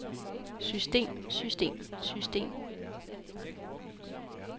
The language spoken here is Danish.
system system system